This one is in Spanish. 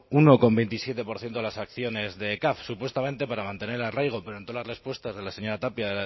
uno coma veintisiete por ciento de las acciones de caf supuestamente para mantener arraigo pero en todas las respuestas de la señora tapia